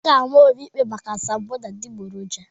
A ga-ama Obi ikpe maka asambodo adịgboroja.